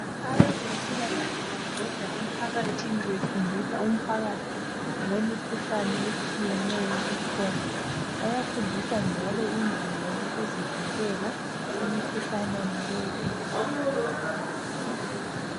Abezempilakahle babhoda emphakathini befundisa Umphakathi ngokwemikhuhlane etshiyeneyo ekhona. Bayafundisa njalo indlela yokuzivikela emikhuhlaneni le ekhona.